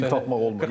Dil tapmaq olmur.